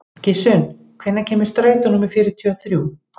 Gissunn, hvenær kemur strætó númer fjörutíu og þrjú?